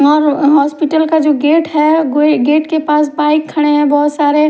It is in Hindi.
और हॉस्पिटल का जो गेट है गो गेट के पास बाइक खड़े है बोहोत सारे --